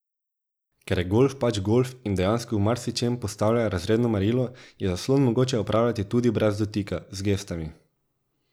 Ker je golf pač golf in dejansko v marsičem postavlja razredno merilo, je zaslon mogoče upravljati tudi brez dotika, z gestami.